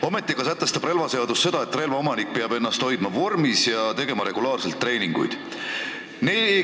Ometi aga sätestab relvaseadus, et relva omanik peab ennast hoidma vormis ja tegema regulaarselt treeninguid.